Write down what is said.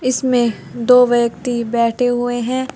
इसमें दो व्यक्ति बैठे हुए है।